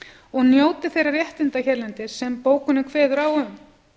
og njóti þeirra réttinda hérlendis sem bókunin kveður á um